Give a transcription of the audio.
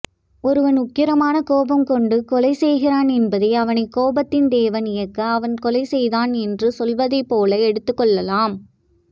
ஒருவன் உக்கிரமான கோபம் கொண்டு கொலைசெய்கிறான் என்பதை அவனைக் கோபத்தின் தேவன் இயக்க அவன் கொலைசெய்தான் என்று சொல்வதைப்போல எடுத்துக்கொள்ளலாம்